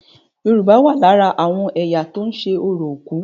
Yorùbá wà lára àwọn ẹ̀yà tó ń ṣe orò òkú.